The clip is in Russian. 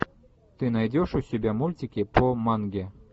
ты найдешь у себя мультики по манге